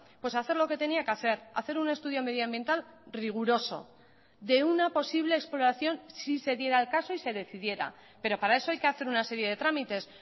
pues a hacer lo que tenía que hacer hacer un estudio medioambiental riguroso de una posible exploración si se diera el caso y se decidiera pero para eso hay que hacer una serie de trámites